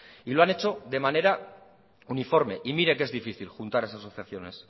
y lo han hecho de manera uniforme y mire que es difícil juntar esas asociaciones